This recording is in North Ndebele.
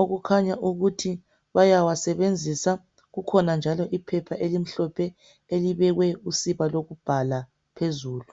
okukhanya ukuthi bayawasebenzisa. Kukhona njalo iphepha elimhlophe elibekwe usiba lokubhala phezulu.